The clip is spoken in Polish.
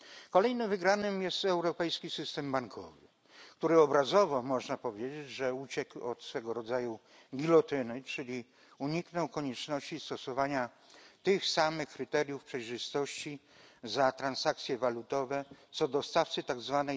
Kolejnym wygranym jest europejski system bankowy, który obrazowo można powiedzieć uciekł od swego rodzaju gilotyny, czyli uniknął konieczności stosowania tych samych kryteriów przejrzystości za transakcje walutowe co dostawcy tzw.